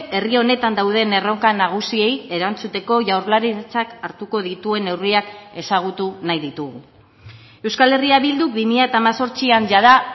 herri honetan dauden erronka nagusiei erantzuteko jaurlaritzak hartuko dituen neurriak ezagutu nahi ditugu euskal herria bilduk bi mila hemezortzian jada